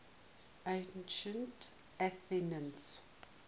ancient athenians